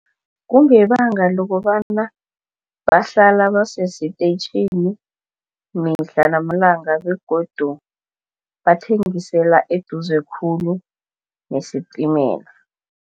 Kungebanga lokobana bahlala basesitetjhini mihla namalanga begodu bathengisela eduze khulu nesistimela.